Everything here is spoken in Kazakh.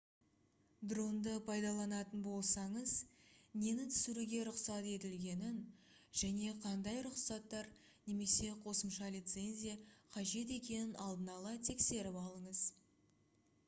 дронды пайдаланатын болсаңыз нені түсіруге рұқсат етілгенін және қандай рұқсаттар немесе қосымша лицензия қажет екенін алдын ала тексеріп алыңыз